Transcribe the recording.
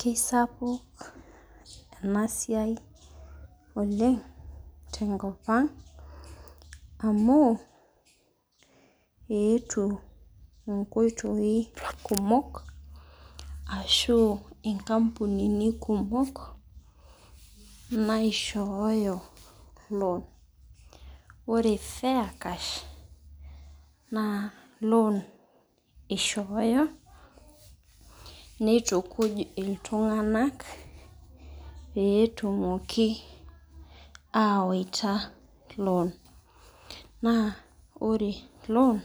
Kesapuk ena siai oleng' tenkop ang' amu eetuo inkoitoi kumok ashu inkampunini kumok naishooyo loan. Ore Fair cash, naa loan eishooyo, neitukuj iltung'anak pee etumooki awaita loan. Naa ore loan